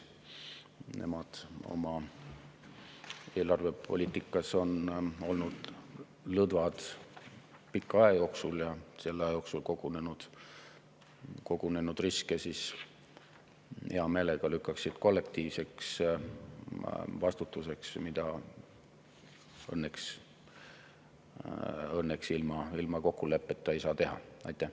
Nemad on oma eelarvepoliitikas olnud lõdvad pika aja jooksul ja lükkaksid vastutuse selle aja jooksul kogunenud riskide eest hea meelega kollektiivselt, mida õnneks ilma kokkuleppeta teha ei saa.